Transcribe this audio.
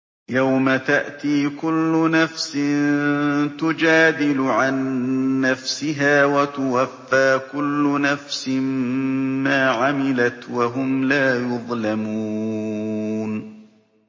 ۞ يَوْمَ تَأْتِي كُلُّ نَفْسٍ تُجَادِلُ عَن نَّفْسِهَا وَتُوَفَّىٰ كُلُّ نَفْسٍ مَّا عَمِلَتْ وَهُمْ لَا يُظْلَمُونَ